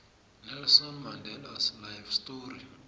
nelson mandelas life story